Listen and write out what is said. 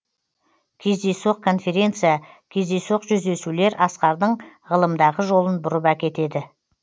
кездейсоқ конференция кездейсоқ жүздесулер асқардың ғылымдағы жолын бұрып әкетеді